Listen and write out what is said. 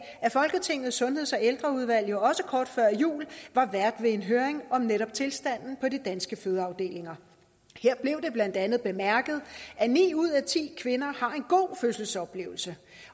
at folketingets sundheds og ældreudvalg jo også kort før jul var vært ved en høring om netop tilstanden på de danske fødeafdelinger her blev det blandt andet bemærket at ni ud af ti kvinder har en god fødselsoplevelse